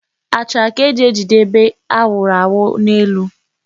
Achara ka e ji ejide ebe a wụrụ awu n'elu.